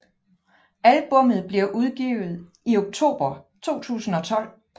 Albummet bliver udgivet i oktober 2012